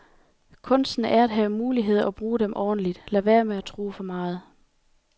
Kunsten er at have muligheder og bruge dem ordentligt. Lad være med at tro for meget.